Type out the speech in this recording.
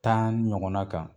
Tan ɲɔgɔnna kan